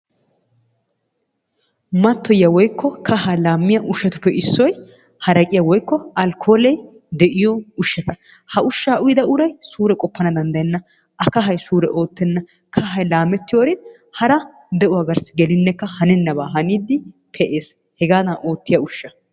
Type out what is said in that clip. Mattoyiyaa woykko kahaa laammiya ushatuppe issoy haraqqiya woykko alkoolle de'iyo ushshata. Ha ushshaa uyyida uray suure qoppana dandayenna a kahay suure oottenna kahay laamettiyorin hara de'uwa garssi gellinekka hanennabaa haniidi pee'ees, hegaadan oottiya ushshaa.